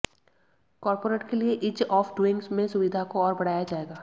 corporate के लिए ease of doing में सुविधा को और बढ़ाया जाएगा